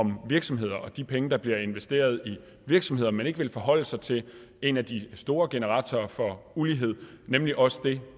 om virksomheder og de penge der bliver investeret i virksomheder men ikke vil forholde sig til en af de store generatorer for ulighed nemlig også det